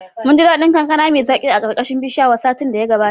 Munji daɗin kankana mai zaki a ƙarƙashin bishiyar satin da ya gabata.